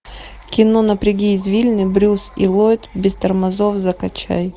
кино напряги извилины брюс и ллойд без тормозов закачай